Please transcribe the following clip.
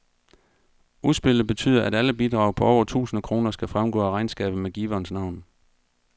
Udspillet betyder, at alle bidrag på over tusind kroner skal fremgå af regnskabet med giverens navn.